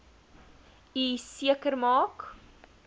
u seker maak